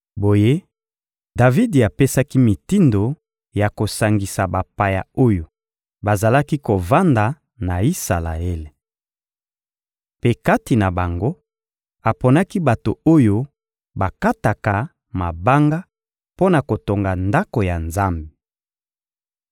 Boye, Davidi apesaki mitindo ya kosangisa bapaya oyo bazalaki kovanda na Isalaele. Mpe kati na bango, aponaki bato oyo bakataka mabanga mpo na kotonga Ndako ya Nzambe.